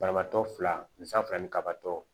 Banabaatɔ fila ni sa fila ni kabatɔ